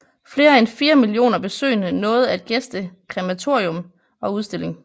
Flere end fire millioner besøgende nåede at gæste krematorium og udstilling